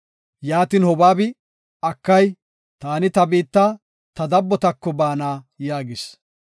Yaatin Hobaabi, “Akay, taani ta biitta ta dabbotako baana” yaagis.